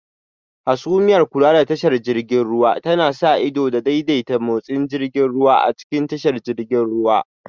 Hasumiyar Kula da tashar jiragen ruwa tana sa ido da daidaita motsin jirgin ruwa a cikin tashar jiragen ruwa